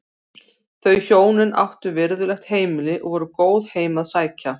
Þau hjónin áttu virðulegt heimili og voru góð heim að sækja.